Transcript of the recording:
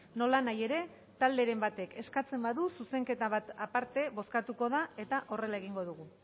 nolanahi ere talderen batek eskatzen badu zuzenketa bat aparte bozkatuko da eta horrela egingo dugu